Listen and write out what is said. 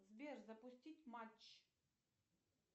сбер запустить матч